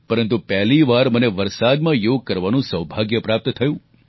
પરંતુ પહેલીવાર મને વરસાદમાં યોગ કરવાનું સૌભાગ્ય પ્રાપ્ત થયું